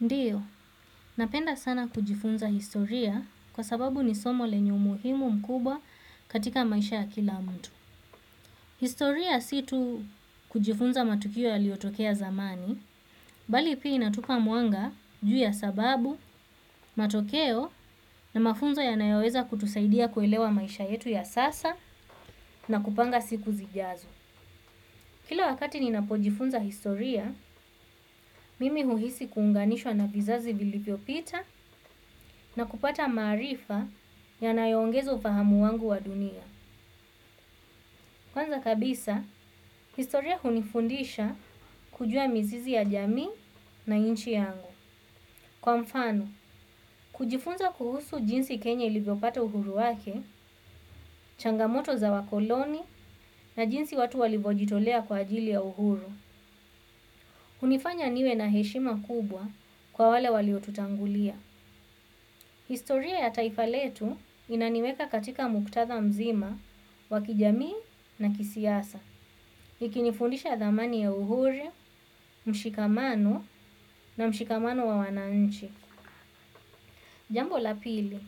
Ndiyo, napenda sana kujifunza historia kwa sababu ni somo lenye umuhimu mkubwa katika maisha ya kila mtu. Historia situ kujifunza matukio ya liotokea zamani, bali pia inatupa muanga juu ya sababu, matokeo na mafunzo yanayoweza kutusaidia kuelewa maisha yetu ya sasa na kupanga siku zijazo. Kila wakati nina pojifunza historia, mimi huhisi kuunganishwa na vizazi vilipiopita na kupata marifa yanayongezo ufahamu wangu wa dunia. Kwanza kabisa historia hunifundisha kujua mizizi ya jamii na nchi yangu. Kwa mfano, kujifunza kuhusu jinsi kenya iliviopata uhuru wake, changamoto za wakoloni na jinsi watu walivojitolea kwa ajili ya uhuru. Unifanya niwe na heshima kubwa kwa wale waliotutangulia. Historia ya taifa letu inaniweka katika muktadha mzima wa kijami na kisiyasa. Ikinifundisha thamani ya uhuri, mshikamano na mshikamano wa wananchi. Jambo lapili.